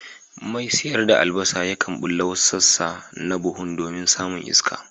Mai sayar da albasa yakan bulla wasu sassa na buhun domin samun iska.